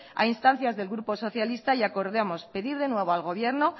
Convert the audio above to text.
a instancia del grupo socialista y acordamos pedir de nuevo al gobierno